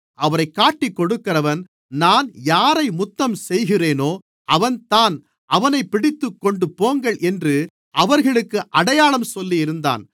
அவரைக் காட்டிக்கொடுக்கிறவன் நான் யாரை முத்தம் செய்கிறேனோ அவன்தான் அவனைப் பிடித்துக் கொண்டுபோங்கள் என்று அவர்களுக்கு அடையாளம் சொல்லியிருந்தான்